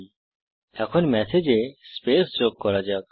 000526 000501 এখন ম্যাসেজে স্পেস যোগ করা যাক